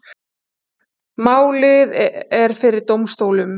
Málið er fyrir dómstólum